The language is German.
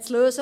zu lösen.